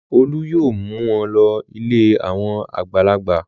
Olú yóò mú wọn lọ ilé àwọn àgbàlagbà.